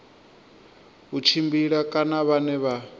u tshimbila kana vhane vha